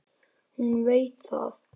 Hún veit það.